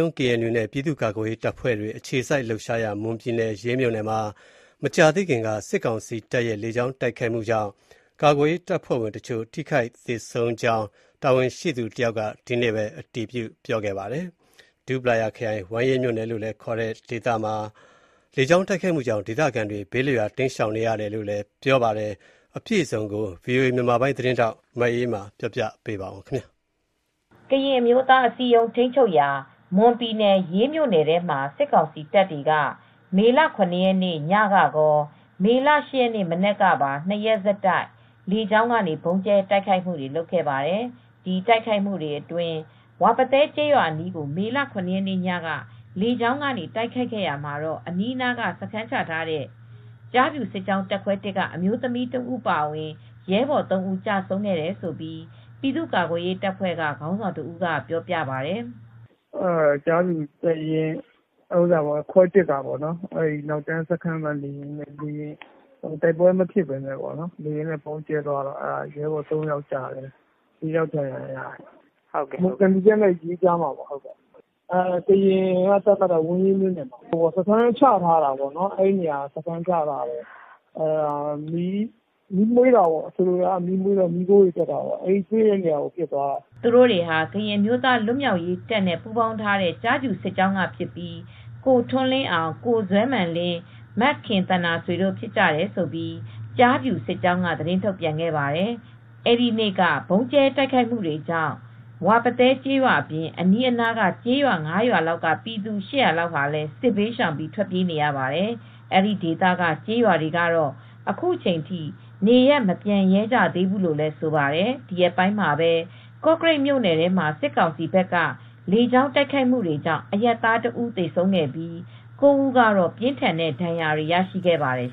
ုံး (KNU) နဲ့ ပြည်သူ့ကာကွယ်ရေးတပ်ဖွဲ့တွေ အခြေစိုက်လှုပ်ရှားရာ မွန်ပြည်နယ်၊ ရေးမြို့နယ်မှာ မကြာသေးခင်က စစ်ကောင်စီတပ်ရဲ့ လေကြောင်း တိုက်ခိုက်မှုကြောင့် ကာကွယ်ရေးတပ်ဖွဲ့ဝင်တချို့ ထိခိုက်သေဆုံးကြောင်း တာဝန်ရှိသူ တယောက်က ဒီကနေ့ပဲ အတည်ပြုခဲ့ပါတယ်။ ဒူးပလာယာခရိုင်၊ ဝမ်းရေးမြို့နယ် လို့လည်း ခေါ်ကြတဲ့ ဒေသမှာ လေကြောင်းတိုက်ခိုက်မှုကြောင့် ဒေသခံတွေ ဘေးလွတ်ရာ တိမ်းရှောင်နေရတယ်လို့လည်း ပြောပါတယ်။ အပြည့်အစုံကို ဗွီအိုအေမြန်မာပိုင်း သတင်းထောက် မအေးအေးမာက သတင်းပေးပို့ထားပါတယ်။ ကရင်အမျိုးသားအစည်းအရုံးထိမ်းချုပ်ရာ မွန်ပြည်နယ် ရေးမြို့နယ်ထဲမှာစစ်ကောင်စီတပ်တွေက မေလ၇ရက်နေ့ညကကော မေလ ၈ရက်နေ့မနက်ကပါ ၂ရက်ဆက်တိုက်လေကြောင်းကနေ ဗုံးကြဲတိုက်ခိုက်မူတွေလုပ်ခဲ့ပါတယ်။ ဒီတိုက်ခိုက်မူတွေအတွင်း ဝါပသဲကျေးရွာအနီးကို မေလ၇ရက်နေ့က လေကြောင်းကနေတိုက်ခိုက်ရာမှာ အနီးနာမှာစခန်းချထားတဲ့ ကျားဖြူစစ်ကြောင်းတပ်ခွဲ(၁)က အမျိုးသမီးတဦးအပါအဝင် ရဲဘော် ၃ ဦးကျဆုံးခဲ့တယ်လို့ ပြည်သူ့ကာကွယ်ရေးတပ်ဖွဲ့ကခေါင်းဆောင်တဦးကပြောပြပါတယ်။ "ကျားဖြူတပ်ရင်းခွဲ (၁)ကပေါ့ နောက်တန်းစခန်းမှာနေရင်း တိုက်ပွဲမဖြစ်ပဲနဲ့ လေယာဉ်နဲ့ပစ်ရင်းနဲ့ ရဲဘော် ၃ယောက်ကျတယ် ၄ ယောက်ဒဏ်ရာရတယ် သံဖြူဇရပ်နဲ့ရေးကြားထဲကပေါ့ ကရင်က သတ်မှတ်ထားတာကတော့ဝမ်းရေးမြို့နယ်ထဲမှာပါ။ စခန်းချထားတာပေါ့ အဲဒီနေရာမှာမီးမွှေးတော့ မီးခိုးတွေတက်တဲ့နေရာကို ပစ်သွားတာပါ" သူတို့တွေဟာကရင်းအမျိုးသားလွတ်မြောက်ရေးတပ်နဲ့ ပူးပေါင်းထားတဲ့ကျားဖြူစစ်ကြောင်းကဖြစ်ပြီး ကိုထွန်းလင်းအောင် ကိုဇွဲမာန်လင်း မခင်သန္တာဆွေတို့ဖြစ်ကြတယ်လို့ ကျားဖြူစစ်ကြောင်းကသတင်းထုတ်ပြန်ပါတယ်။ အဲဒီနေ့က ဗုံးကြဲတိုက်ခိုက်မူတွေကြောင့် ဝါပသဲကျေးရွာအပြင် အနီးကျေးရွာ ၅ ရွာလောက်က ပြည်သူ ၈၀၀လောက်လည်းစစ်ဘေးရှောင်ပြီးထွက်ပြေးနေရပါတယ်။ အဲဒီဒေသက ကျေးရွာတွေကတော့အခုချိန်ထိနေရပ်မပြန်ရဲကြသေးဘူးလို့လည်းဆိုပါတယ်။ ဒီရက်ပိုင်းမှာပဲ ကော့ကရိတ်မြို့နယ်ထဲမှာစစ်ကောင်စီဘက်က လေကြောင်းတိုက်ခိုက်မူတွေကြောင့်အရပ်သား တဦးသေဆုံးခဲ့ပြီး ၉ ဦးကတော့ ပြင်းထန်တဲ့ဒဏ်ရာတွေလည်းရရှိခဲ့ပါတယ်